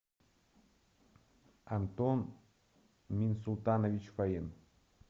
антон минсултанович фаин